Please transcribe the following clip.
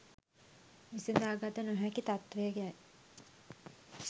විසඳාගත නොහැකි තත්ත්වයයි.